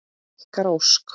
Ykkar Ósk.